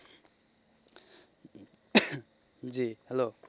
জী hello.